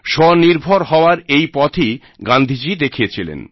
স্বনির্ভর হওয়ার এই পথই গান্ধীজী দেখিয়েছিলেন